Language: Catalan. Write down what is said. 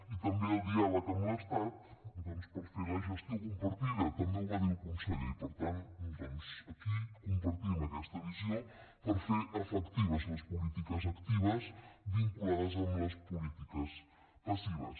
i també el diàleg amb l’estat doncs per fer la gestió compartida també ho va dir el conseller i per tant doncs aquí compartim aquesta visió per fer efectives les polítiques actives vinculades amb les polítiques passives